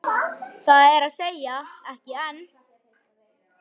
Það er að segja, ekki enn.